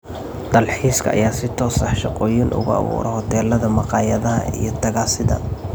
Dalxiiska ayaa si toos ah shaqooyin uga abuura hoteelada, maqaayadaha iyo tagaasida.